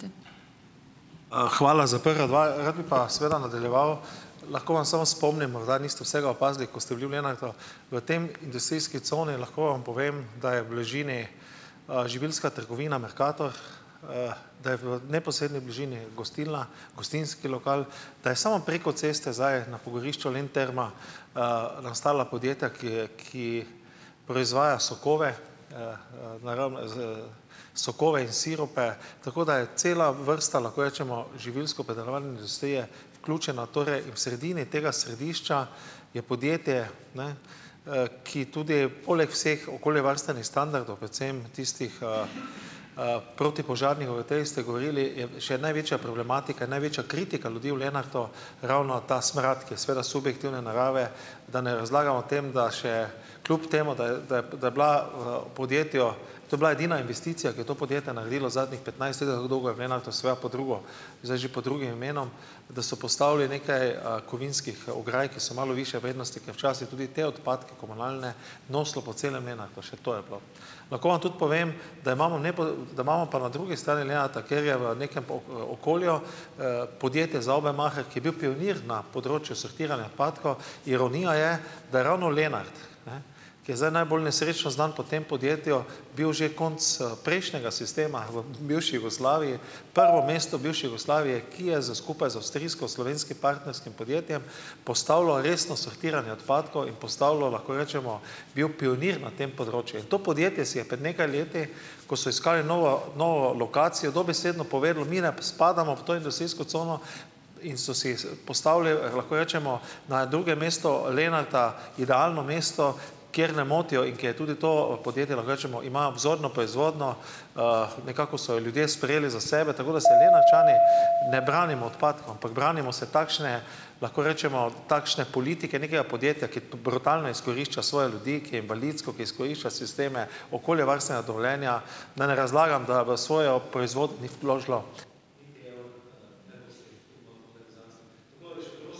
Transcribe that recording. Hvala za prva dva. Rad bi pa seveda nadaljeval. Lahko vas samo spomnim, morda niste vsega opazili, ko ste bili v Lenartu. V tej industrijski coni, lahko vam povem, da je v bližini, živilska trgovina Mercator, da je v neposredni bližini gostilna, gostinski lokal, da je samo preko ceste zdaj na pogorišču Lenterma, ostala podjetja, ki ki proizvaja sokove, naravno z sokove in sirupe, tako da je cela vrsta, lahko rečemo, živilskopredelovalne industrije vključena torej in v sredini tega središča je podjetje, ne, ki tudi poleg vseh okoljevarstvenih standardov, predvsem tistih, protipožarnih, o teh ste govorili, je še največja problematika, največja kritika ljudi v Lenartu ravno ta smrad, ki je seveda subjektivne narave, da ne razlagam o tem, da še kljub temu, da je da je da je bila v podjetju, to je bila edina investicija, ki je to podjetje naredilo zadnjih petnajst let, ali kako dolgo je v Lenartu, seveda pod drugo, zdaj že pod drugim imenom, da so postavili nekaj, kovinskih ograj, ki so malo višje vrednosti, ker včasih tudi te odpadke, komunalne, nosilo po celem Lenartu, še to je bilo. Lahko vam tudi povem, da imamo da imamo pa na drugi strani Lenarta, kjer je v nekem okolju, podjetje Saubermacher, ki je bil pionir na področju sortiranja odpadkov, ironija je, da ravno Lenart, ne, ki je zdaj najbolj nesrečno znan po tem podjetju, bil že konec, prejšnjega sistema v bivši Jugoslaviji prvo mesto v bivši Jugoslaviji, ki je z skupaj z avstrijsko-slovenskim partnerskim podjetjem postavilo resno sortiranje odpadkov, in postavilo, lahko rečemo, bilo pionir na tem področju. To podjetje si je pred nekaj leti, ko so iskali novo novo lokacijo, dobesedno povedalo, mi ne spadamo v to industrijsko cono in so si, postavili, lahko rečemo, na drugem mestu Lenarta idealno mesto, kjer ne motijo in kjer je tudi to podjetje, lahko rečemo, ima vzorno proizvodnjo, nekako so jo ljudje sprejeli za sebe. Tako da se Lenartčani ne branimo odpadkov, ampak branimo se takšne, lahko rečemo, takšne politike nekega podjetja, ki brutalno izkorišča svoje ljudi, ki je invalidsko, ki izkorišča sisteme, okoljevarstvena dovoljenja, da ne razlagam, da v svojo proizvodnih vložilo ...